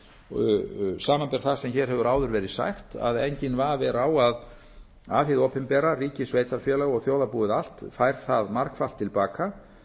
minna samanber það sem hér hefur áður verið sagt að enginn vafi er á að hið opinbera ríki sveitarfélög og þjóðarbúið allt fær það margfalt til baka